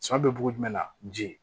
Sɔ bɛ bugun jumɛn la ji